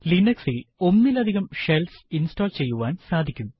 Linux ഇൽ ഒന്നിലധികം shells install ചെയ്യുവാൻ സാധിക്കും